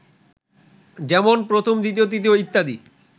যেমন প্রথম, দ্বিতীয়, তৃতীয় ইত্যাদি